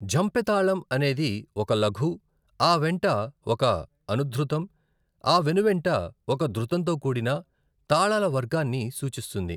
ఝంపె తాళం అనేది ఒక లఘు, ఆ వెంట ఒక అనుధృతం, ఆ వెనువెంట ఒక ధృతంతో కూడిన తాళాల వర్గాన్ని సూచిస్తుంది.